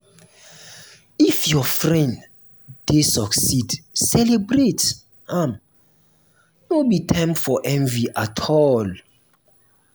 if your friend dey succeed celebrate am; no be time for envy at all.